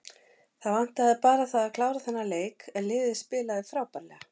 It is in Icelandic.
Það vantaði bara það að klára þennan leik en liðið spilaði frábærlega.